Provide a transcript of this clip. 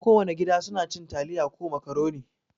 Kowana gida suna cin taliya ko makaroni.